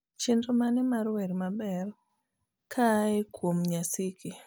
chenro mane mar wer maber kaae kwom nyashinski